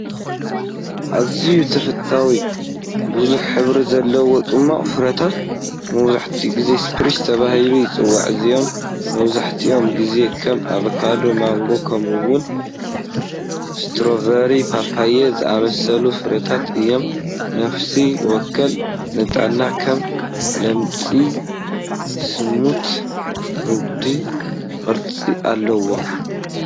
ኣዝዩ ተፈታዊ=#ብዙሕ ሕብሪ ዘለዎ ጽማቝ ፍረታት፡ መብዛሕትኡ ግዜ "ስፕሪንክል" ተባሂሉ ይጽዋዕ። እዚኦም መብዛሕትኡ ግዜ ከም ኣቮካዶ፡ ማንጎ፡ ከምኡ’ውን ስትሮቨሪ/ፓፓዮ ዝኣመሰሉ ፍረታት እዮም። ነፍሲ ወከፍ ንጣብ ከም ልሙጽ ስሙቲ ረጒድ ቅርጺ ኣለዎ።